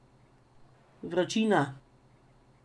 Vročina.